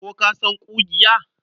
Ko ka san ƙugiya?